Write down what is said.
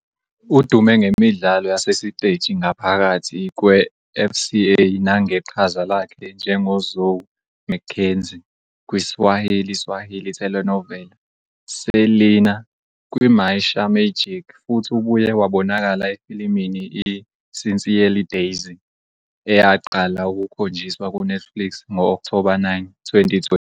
Udume ngemidlalo yasesiteji ngaphakathi kweFCA nangeqhaza lakhe njengoZoe Mackenzie kwi-Swahili Swahili telenovela "Selina" kwiMaisha Magic futhi ubuye wabonakala "efilimini i-Sincerely Daisy", eyaqala ukukhonjiswa kuNetflix ngo-Okthoba 9, 2020.